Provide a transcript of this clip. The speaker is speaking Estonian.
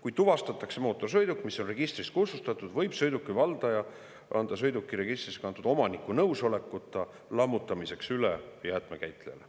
"Kui tuvastatakse mootorsõiduk, mis on registrist kustutatud, võib sõiduki valdaja või selle kinnisasja omanik anda sõiduki registrisse kantud omaniku nõusolekuta nõuetekohaseks lammutamiseks üle jäätmekäitlejale.